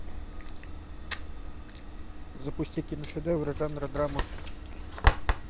запусти киношедевр жанра драма